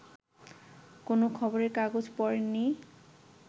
কোনো খবরের কাগজ পড়েননি